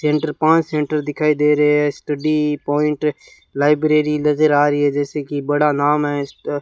Centre पांच centre दिखाई दे रहे है स्टडी पॉइंट लाइब्रेरी नज़र आ रही है जैसे कि बड़ा नाम है इसका।